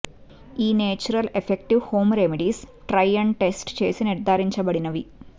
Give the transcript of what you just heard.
ఈ natural effective home remedies try and test చేసి నిర్ధారించబడినవి